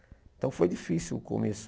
Então foi difícil o começo.